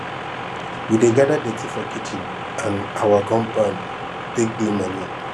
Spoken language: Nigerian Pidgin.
we dey gada dirty for kitchen and awa compound take do manure